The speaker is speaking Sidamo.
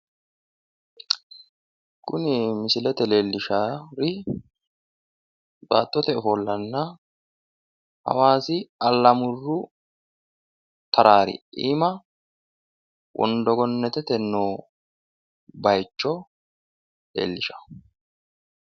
kuni misilete leellishaari baattote ofollanna hawaasi allamuru taraari iiima wondo gennetete noo bayiicho leellishanno.